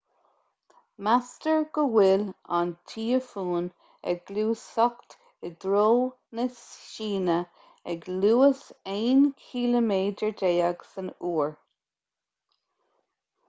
meastar go bhfuil an tíofún ag gluaiseacht i dtreo na síne ag luas aon chiliméadar déag san uair